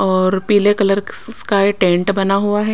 और पीले कलर का टेंट बना हुआ है ।